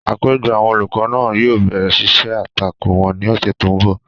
Àpéjọpọ̀ àwọn olùkọ́ náà yóò bẹ̀rẹ̀ ṣíṣe àtakò wọn ní ọ̀sẹ̀ tó n bọ̀